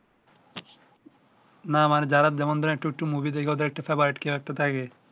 না আমার যারা যেমন ধরেন একটু একটু মুভি কেও একটা থাকে